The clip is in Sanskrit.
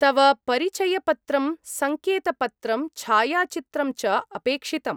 तव परिचयपत्रं, सङ्केतपत्रं, छायाचित्रं च अपेक्षितम्।